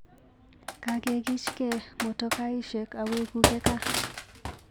Kakekichke motokaisyek awekuke kaa.